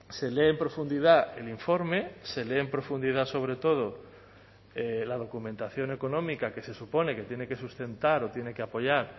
se lee en profundidad el informe se lee en profundidad sobre todo la documentación económica que se supone que tiene que sustentar o tiene que apoyar